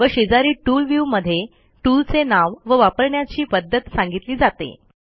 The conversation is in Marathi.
व शेजारी टूल व्ह्यू मध्ये टूलचे नाव व वापरण्याची पध्दत सांगितली जाते